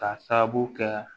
K'a sababu kɛ